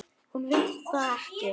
Hún vill það ekki.